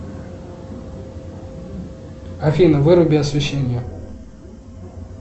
афина выруби освещение